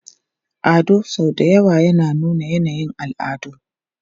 Ado sau da yawa yana nuna yanayin al'adu.